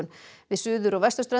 við suður og